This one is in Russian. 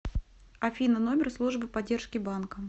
афина номер службы поддержки банка